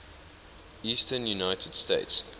eastern united states